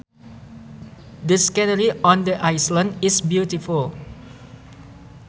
The scenery on the island is beautiful